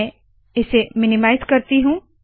मैं इसे मिनीमाइज़ करती हूँ